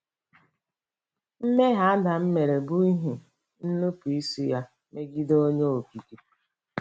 Mmehie Adam mere bụ n’ihi nnupụisi ya megide Onye Okike.